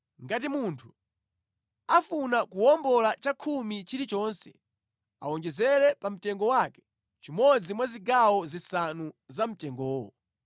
Ngati munthu afuna kuwombola chakhumi chilichonse, awonjezere pamtengo wake chimodzi mwa zigawo zisanu za mtengowo.